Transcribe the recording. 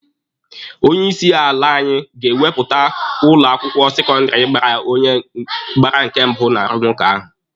Onye isi ala anyị ga-ekwuputa ụlọ akwụkwọ sekọndịrị gbara onye nke mbụ n'arụmụka ahụ.